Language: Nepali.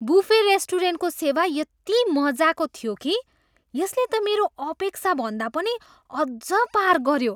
बुफे रेस्टुरेन्टको सेवा यति मज्जाको थियो कि यसले त मेरो अपेक्षाभन्दा पनि अझ पार गऱ्यो।